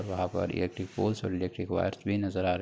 और वहाँ पर इलेक्ट्रिक पोल्स और इलेक्ट्रिक वायर्स भी नजर आ रहे --